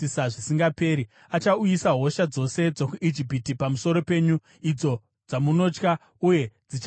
Achauyisa hosha dzose dzokuIjipiti pamusoro penyu, idzo dzamunotya, uye dzichabatirira pamuri.